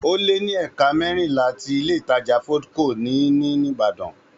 Ó lé ní ẹ̀ka mẹ́rìnlá tí Ilé-ìtajà Foodco ní ní Ìbàdàn